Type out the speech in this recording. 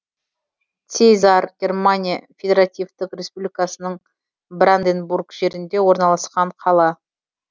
циезар германия федеративтік республикасының бранденбург жерінде орналасқан қала